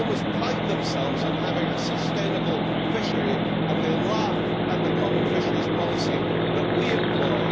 They always pride themselves on having a sustainable fishery and they laugh at the common fisheries policy that we employ.